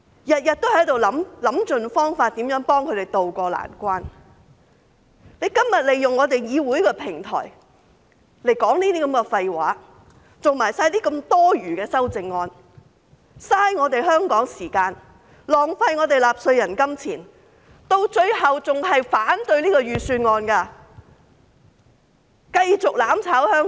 我們每天都想盡方法幫這些市民渡過難關，而他們今天卻利用議會的平台來說這些廢話，提出這麼多餘的修正案，浪費香港的時間，浪費納稅人金錢，到最後還是反對預算案，繼續"攬炒"香港。